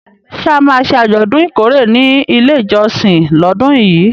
Ṣé a máa ṣe àjọ̀dún ìkórè ní ilé ìjọsìn lọ́dún yìí?